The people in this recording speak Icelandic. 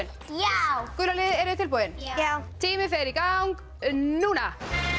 já gula liðið eruð þið tilbúin já tíminn fer í gang núna